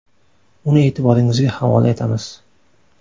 Uni e’tiboringizga havola etamiz .